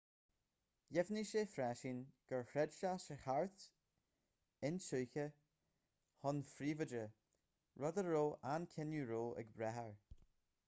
dheimhnigh sé freisin gur chreid sé sa cheart intuigthe chun príobháide rud a raibh an cinneadh roe ag brath air